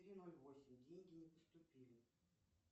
три ноль восемь деньги не поступили